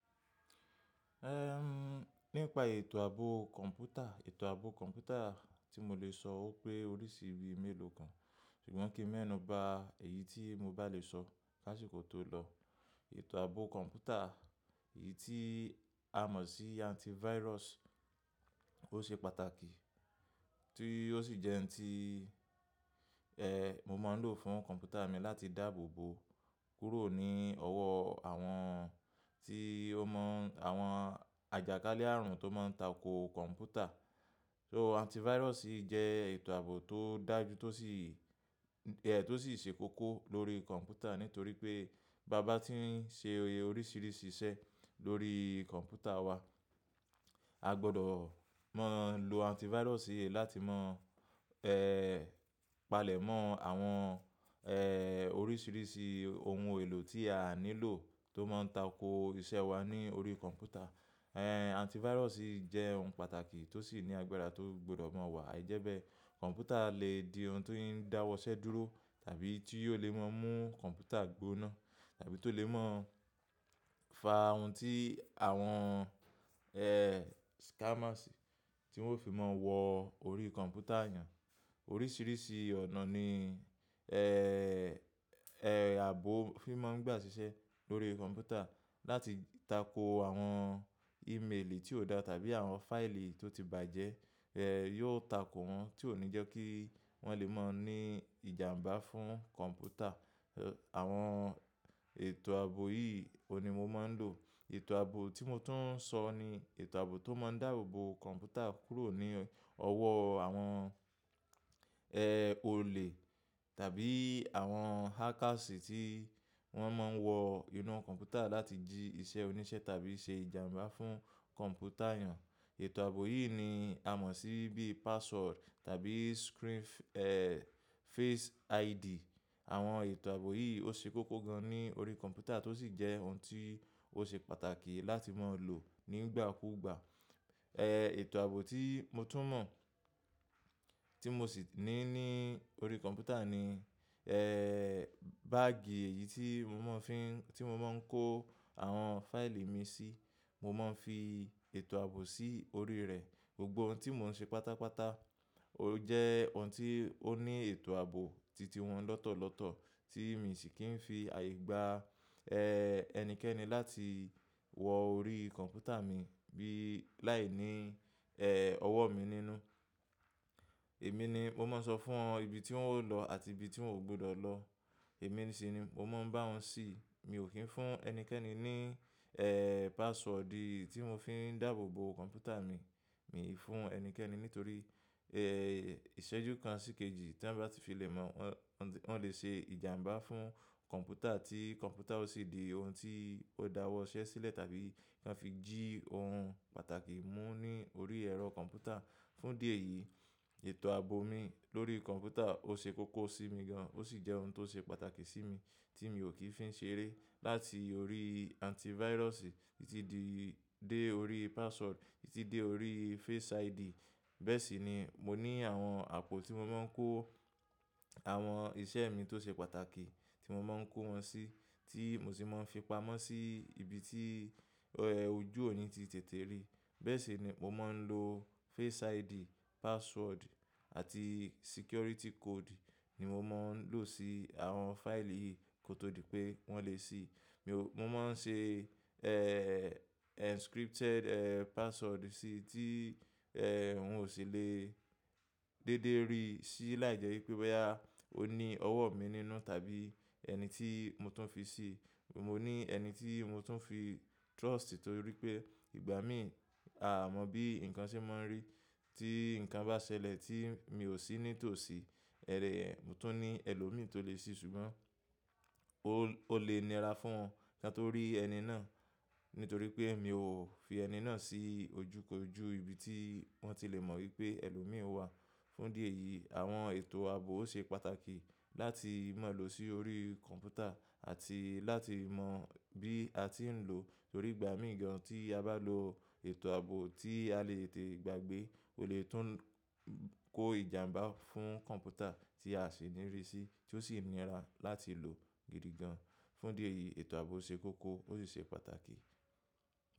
Nípa ètò ààbò kọ̀ǹpútà, ètò ààbò kọ̀ǹpútà tí mo lè sọ ó pé oríṣi bíi mélòó kan, ṣùgbọ́n kí mẹ́nu ba èyí tí mo bá lè sọ láṣẹ kò tó lọ. Ètò ààbò kọ̀ǹpútà, èyí tí a mọ̀ sí antivirus ó ṣe pàtàkì tí ó sì jẹ́ ẹ́n tí, ẹ́ mo máa ń lò fún kọ̀ǹpútà mi láti dáàbò bo kúrò ní ọwọ́ àwọn tí ó mọ̀ àwọn àjàkálẹ̀ ààrùn tó máa ń tako kọ̀ǹpútà. So, antivirus jẹ́ ètò ààbò tó dájú tó sì, ẹ́ tó sì ṣe kókó lórí kọ̀ǹpútà nítorí pé báa bá tí ń ṣe oríṣiríṣi iṣẹ́ lórí kọ̀ǹpútà wa, a gbọdọ̀ máa lo antivirus láti máa, palẹ̀mọ́ àwọn, oríṣiríṣi oun èlò tí a nílò tó máa ń tako iṣẹ́ wa ní orí kọ̀ǹpútà. Ẹ̀ antivirus jẹ́ ohun pàtàkì tó sì ní agbára tó gbọdọ̀ máa wà, àìjẹ́bẹ́ kọ̀ǹpútà lè di ohun tó ń dáwọ́ iṣẹ́ dúró tàbí tí yóò lè máa mú kọ̀ǹpútà gbóná tàbí tó lè máa fa oun tí àwọn, scammers tí wọ́n fi máa ń wọ orí kọ̀ǹpútà yàn. Oríṣiríṣi ọ̀nà ní, ààbò fi máa ń gbà ṣiṣẹ́ lórí kọ̀ǹpútà láti tako àwọn email tí ó dá tàbí àwọn fáìlì tó ti bàjẹ́, ẹ́ yóò tako wọ́n tí ò ní jẹ́ kí wọ́n lè máa ní ìjàǹbá fún kọ̀ǹpútà. Àwọn ètò ààbò yìí òní mo máa ń lò. Ètò ààbò tí mo tún ń sọ ní ètò ààbò tó máa ń dáàbò bo kọ̀ǹpútà kúrò ní ọwọ́ àwọn, olè tàbí àwọn hackers tí wọ́n máa ń wọ inú kọ̀ǹpútà láti jí iṣẹ́ oníṣẹ́ tàbí ṣe ìjàǹbá fún kọ̀ǹpútà ènìyàn. Ètò ààbò yìí ni a mọ̀ sí bíi password tàbí screen, face ID. Àwọn ètò ààbò yìí ó ṣe kókó gan ní orí kọ̀ǹpútà tó sì jẹ́ oun tí ó ṣe pàtàkì láti máa lò nígbà kúgbà. Ètò ààbò tí mo tún mọ̀ tí mo sì ní ní orí kọ̀ǹpútà ni, ẹ́ báàgì èyí tí mo máa ń fi, tí mo máa ń kó àwọn fáìlì mi sí, mo máa ń fi ètò ààbò sí orí rẹ̀. Gbogbo oun tí mò ń ṣe pátápátá ó jẹ́ oun tí ó ní ètò ààbò titi wọn lọ́tọ̀ọ̀lọ́tọ̀ tí mi sì kì ń fi àyígbà, ẹnikẹ́ni láti wọ orí kọ̀ǹpútà mi bí láìní, ẹ́ ọwọ́ mi nínú. Èmi ni mo máa sọ fún wọn ibi tí wọ́n ó lọ àti ibi tí wọ́n ò gbọdọ̀ lọ. Èmi sì ni mo máa ń bá wọn sì. Mi ò kí ń fún ẹnikẹ́ni ní, password ì etí mò ń fi dáàbò bo kọ̀ǹpútà mi. Mi ò fún ẹnikẹ́ni nítorí, ẹ́ ìṣẹ́jú kan sì kejì tí wọ́n bá ti fi lè mọ̀, wọ́n lè ṣe ìjàǹbá fún kọ̀ǹpútà tí kọ̀ǹpútà ò sì di oun tí ó dáwọ́ iṣẹ́ sílẹ̀ tàbí kí wọ́n fi jí oun pàtàkì mú ní orí ẹ̀rọ kọ̀ǹpútà. Fún dí eyìí, ètò ààbò mi lórí kọ̀ǹpútà ó ṣe kókó sí mi gan, ó sì jẹ́ ohun tó ṣe pàtàkì sí mi tí mi ò kí ń fi ṣeré. Láti orí antivirus títí di dé orí password títí dé orí face ID. Bẹ́ẹ̀ sì ni mo ní àwọn àpò tí mo máa ń kó àwọn iṣẹ́ mi tó ṣe pàtàkì tí mo máa ń kó wọn sí tí mo sì máa ń fi pamọ́ sí ibi tí, ẹ́ ojú òní ti tètè rí. Bẹ́ẹ̀ sì ni mo máa ń lo face ID, password àti security code ni mo máa ń lò sí àwọn fáìlì yìí kó tó di pé wọ́n lè sí. Mo máa ń ṣe, encrypted, password sí tí, wọn ò sì lè dédé rí sí láìjẹ́ pé bóyá ó ní ọwọ́ mi nínú tàbí ẹni tí mo tún fi sí. Mo ní ẹni tí mo tún fi trust torí pé ìgbà mí à mo bíi nǹkan ṣe máa ń rí. Tí nǹkan bá ṣẹlẹ̀ tí mi ò sí ní tòsí, mo tún ní ẹlòmíì tó lè sì ṣùgbọ́n ó lè nira fún wọn kí wọn tó rí ẹni náà nítorí pé mi ò fi ẹni náà sí ojúkoojú ibi tí wọ́n ti lè mọ̀ wípé ẹlòmíì ó wà. Fún dí ẹ̀yìí, àwọn ètò ààbò ó ṣe pàtàkì láti máa lò sí orí kọ̀ǹpútà àti láti mọ bí a ti ń lò torí ìgbà míì gan tí a bá lo ètò ààbò tí a lè tètè gbàgbé, o lè tún kó ìjàǹbá fún kọ̀ǹpútà tí a sì ní rí sí tí ó sì nira láti lò gidi gan. Fún dí ẹ̀yìí ètò ààbò ṣe kókó ó sì ṣe pàtàkì.